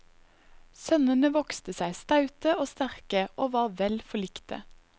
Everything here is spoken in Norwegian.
Sønnene vokste seg staute og sterke og var vel forlikte.